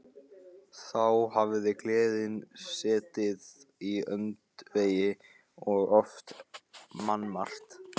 Þá hafði gleðin setið í öndvegi og oft mannmargt.